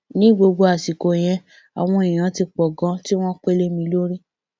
ní gbogbo àsìkò yẹn àwọn èèyàn ti pọ ganan tí wọn pè lé mi lórí